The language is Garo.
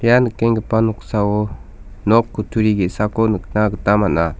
ia nikenggipa noksao nok kutturi ge·sako nikna gita man·a.